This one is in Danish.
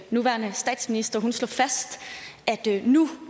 nuværende statsminister slog fast at nu